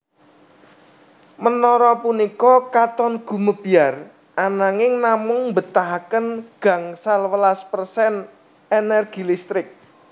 Menara punika katon gumebyar ananging namung mbetahaken gangsal welas persen energi listrik